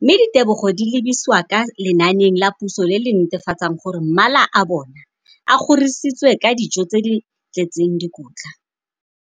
mme ditebogo di lebisiwa kwa lenaaneng la puso le le netefatsang gore mala a bona a kgorisitswe ka dijo tse di tletseng dikotla.